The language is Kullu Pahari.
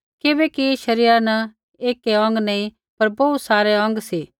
किबैकि शरीरा न ऐकै अौंग नी पर बोहू सारै सी